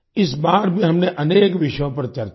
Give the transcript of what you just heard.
इस बार भी हमने अनेक विषयों पर चर्चा की